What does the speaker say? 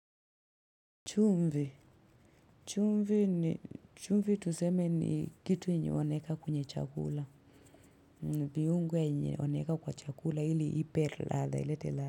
Chumvi. Chumvi tuseme ni kitu yenye wanaeka kwenye chakula. Viungo yenye wanaweka kwa chakula ili ipe ladha, ilete ladha.